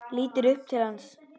Lítur upp til hans.